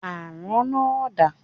Àrán náà dà?